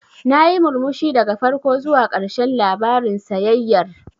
Nayi murmushi daga farko zuwa ƙarshen labarin sayayyar.